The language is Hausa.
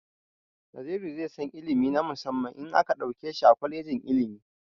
Naziru zai san ilimi na musamman in aka ɗauke shi a kwalejin ilimi.